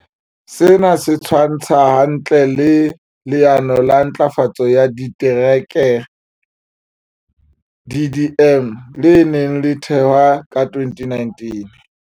Sena se tshwantshwa hantle le Le ano la Ntlafatso ya Ditereke, DDM, le neng le thehwe ka 2019.